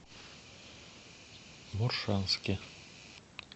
моршанске